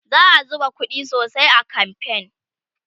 za'a zuba ƙuɗi sosai a kamfen